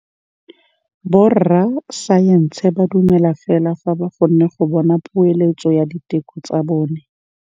Borra saense ba dumela fela fa ba kgonne go bona poeletsô ya diteko tsa bone.